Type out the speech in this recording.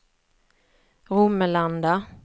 Romelanda